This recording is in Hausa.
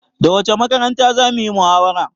Da wacce makaranta zamuyi muhawara?